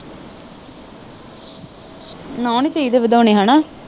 ਨੋਹ ਨਹੀਂ ਚਾਹੀਦੇ ਵਧਾਉਣੇ ਹੇਨਾ